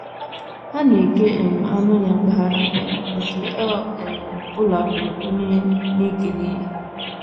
Ha na - eke um anụ ya, mpaghara, mpaghara nke ọ um bụla nwere onye a na - ekenye ya.